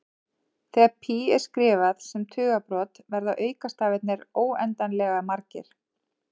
Þegar pí er skrifað sem tugabrot verða aukastafirnir óendanlega margir.